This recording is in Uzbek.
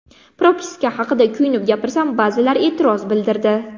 Propiska haqida kuyunib gapirsam, ba’zilar e’tiroz bildirdi.